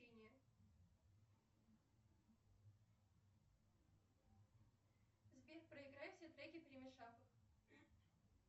сбер проиграй все треки перемешав их